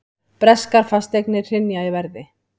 Breskar fasteignir hrynja í verði